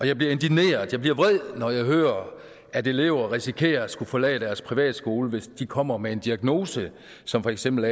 jeg bliver indigneret jeg bliver vred når jeg hører at elever risikerer at skulle forlade deres privatskole hvis de kommer med en diagnose som for eksempel